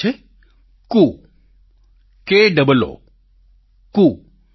તેનું નામ છે કૂકે ડબલ ઓ કૂ